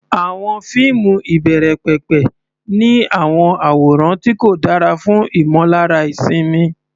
Àwọn fíìmù ìbẹ̀rẹ̀pẹ̀pẹ̀ ní àwọn àwòrán tí kò dára fún ìmọ̀lára ìsinmi.